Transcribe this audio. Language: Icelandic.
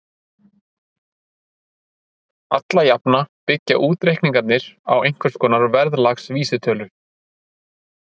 alla jafna byggja útreikningarnir á einhvers konar verðlagsvísitölu